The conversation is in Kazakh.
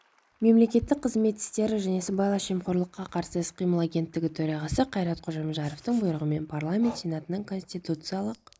мемлекеттік қызмет істері және сыбайлас жемқорлыққа қарсы іс-қимыл агенттігі төрағасы қайрат қожамжаровтың бұйрығымен парламент сенатының конституциялық